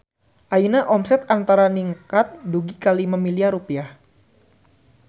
Ayeuna omset Antara ningkat dugi ka 5 miliar rupiah